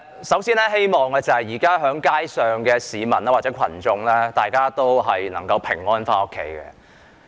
首先，我希望現時在街上的市民或群眾都能夠平安回家。